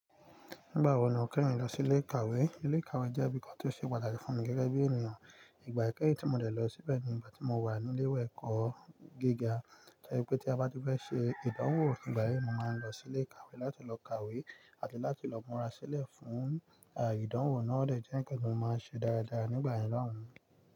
Nígbà wo ni o kẹ́yin lọ sí ilé ìkàwé? Ilé ìkàwé jẹ́ ibi kan tí ó ṣe pàtàkì fún mi gẹ́gẹ́ bí ènìyàn. Ìgbà ìkẹ́yin tí mo dẹ̀ lọ síbẹ̀ ni ìgbà tí mo wà ní ilé ìwé ẹ̀kọ́ gíga. To je pé tí a bá ti fẹ́ ṣe ìdánwò nígbà yii, mo máa ń lọ sí ilé ìkàwé láti lọ kàwé àti láti lọ múra sílẹ̀ fún ìdánwò náà, o de jẹ nkan ti mo máa ṣe dáradára nígbà yẹn loun.